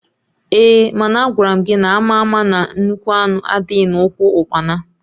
Ehe! Mana Agwaram gị na ama ama na nnukwu anụ adịghị na ụkwụ ukpana!